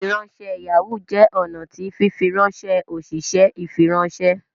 ifiranṣẹ Yahoo jẹ ọnà tí fifiranṣẹ oṣiṣẹ ifiranṣẹ